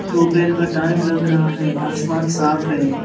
दोपहर का टाइम लग रहा है आसमान साफ़ है।